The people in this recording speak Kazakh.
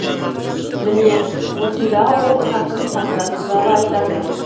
міне осында ол хакім сократ туралы айтады